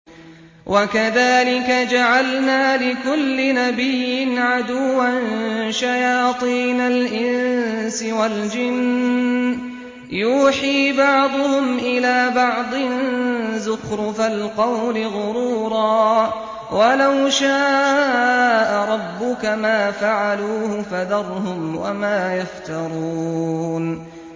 وَكَذَٰلِكَ جَعَلْنَا لِكُلِّ نَبِيٍّ عَدُوًّا شَيَاطِينَ الْإِنسِ وَالْجِنِّ يُوحِي بَعْضُهُمْ إِلَىٰ بَعْضٍ زُخْرُفَ الْقَوْلِ غُرُورًا ۚ وَلَوْ شَاءَ رَبُّكَ مَا فَعَلُوهُ ۖ فَذَرْهُمْ وَمَا يَفْتَرُونَ